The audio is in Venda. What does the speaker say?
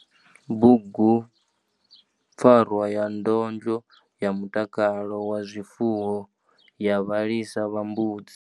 Bugupfarwa ya ndondlo ya mutakalo wa zwifuwo ya vhalisa vha mbudzi.